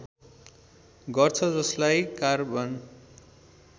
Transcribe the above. गर्छ जसलाई कार्बन